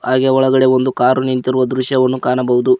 ಹಾಗೆ ಒಳಗಡೆ ಒಂದು ಕಾರು ನಿಂತಿರುವ ದೃಶ್ಯವನ್ನು ಕಾಣಬಹುದು.